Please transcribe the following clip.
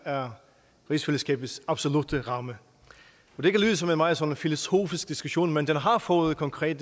er rigsfællesskabets absolutte ramme det kan lyde som en meget sådan filosofisk diskussion men den har fået konkret